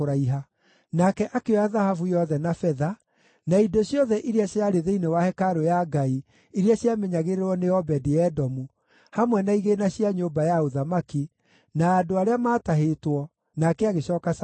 Nake akĩoya thahabu yothe na betha, na indo ciothe iria ciarĩ thĩinĩ wa hekarũ ya Ngai iria ciamenyagĩrĩrwo nĩ Obedi-Edomu, hamwe na igĩĩna cia nyũmba ya ũthamaki, na andũ arĩa maatahĩtwo, nake agĩcooka Samaria.